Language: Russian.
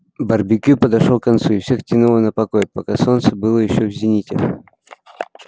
барбекю подошёл к концу и всех тянуло на покой пока солнце было ещё в зените